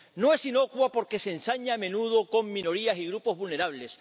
No es inocua, porque se ensaña a menudo con minorías y grupos vulnerables.